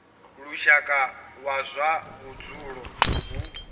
lushaka wa zwa vhudzulo hu